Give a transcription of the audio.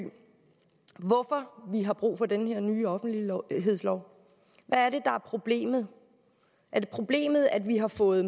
om vi har brug for den her nye offentlighedslov hvad er det er problemet er det problemet at vi har fået